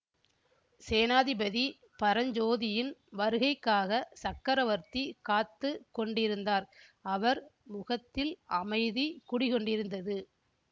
சேனாதிபதி பரஞ்சோதியின் வருகைக்காகச் சக்கரவர்த்தி காத்து கொண்டிருந்தார் அவர் முகத்தில் அமைதி குடிகொண்டிருந்தது